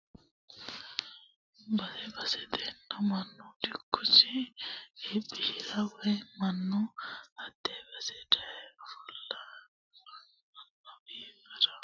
Base basetera mannu dikkosi iibbishirara woyi mannu hate base daye owaante affirara yee babbaxxitino afii borro qiixeesse egenshiisha xalano waalchoho ikkonna kayinni bude qooxxeesuha agarino garinni ikkalla noosi.